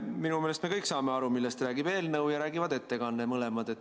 Minu meelest me kõik saame aru, millest räägib eelnõu ja räägib ettekanne – mõlemad.